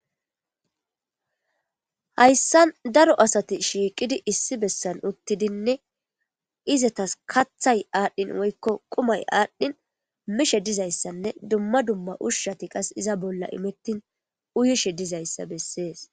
Hayssan darro asatti issi bolla utiddi de77osona izzatas kathay adhin woykko qummay adhin mishee dizzayssanne dumma dumma ushay izza bolla imettin uyettishe dizzayssa besses.